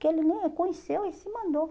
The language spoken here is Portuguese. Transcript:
Que ele nem a conheceu e se mandou.